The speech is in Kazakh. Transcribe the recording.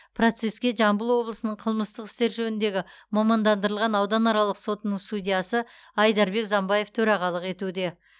процеске жамбыл облысының қылмыстық істер жөніндегі мамандандырылған ауданаралық сотының судьясы айдарбек замбаев төрағалық етуде